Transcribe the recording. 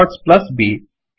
A comma l dots comma B